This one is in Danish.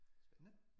Spændende